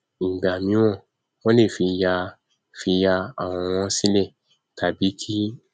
ìgbà míràn wọn lè fi ya fi ya àwòrán sílẹ tàbí kí